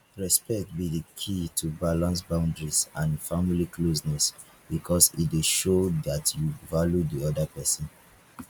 respect be di key to balance boundaries and family closeness because e dey show dat you value di oda pesin